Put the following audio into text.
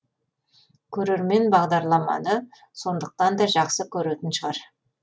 көрермен бағдарламаны сондықтан да жақсы көретін шығар